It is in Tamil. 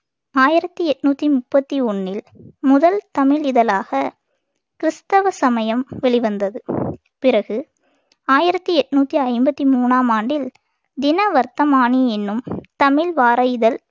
ஆயிரத்தி எண்ணூத்தி முப்பத்தி ஒண்ணில் முதல் தமிழ் இதழாக கிறிஸ்தவ சமயம் வெளிவந்தது பிறகுஆயிரத்தி எட்நூத்தி ஐம்பத்தி மூணாம் ஆண்டில் தின வர்த்தமானி என்னும் தமிழ் வார இதழ்